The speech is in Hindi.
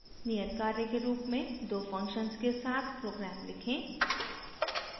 नियत कार्य के रूप में दो functions के साथ program लिखें